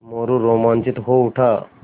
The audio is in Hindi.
मोरू रोमांचित हो उठा